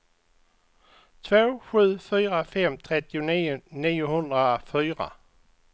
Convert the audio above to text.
två sju fyra fem trettionio niohundrafyra